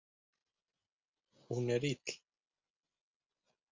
Hún er ill.